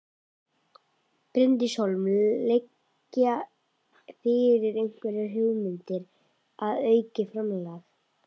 Bryndís Hólm: Liggja fyrir einhverjar hugmyndir um aukið framlag?